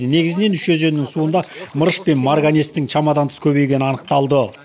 негізінен үш өзеннің суында мырыш пен марганецтің шамадан тыс көбейгені анықталды